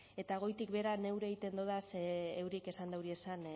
eta goitik behera neure egiten dodaz euriek esan dauriezan